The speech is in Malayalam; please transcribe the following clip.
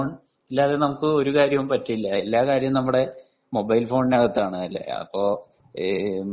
മൊബൈൽ ഫോൺ ഇല്ലാതെ നമുക്ക് ഒരു കാര്യവും പറ്റില്ല എല്ലാ കാര്യവും നമ്മുടെ മൊബൈൽ ഫോണിനകത്താണ് അപ്പൊ